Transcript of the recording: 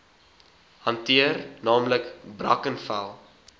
hanteer naamlik brackenfell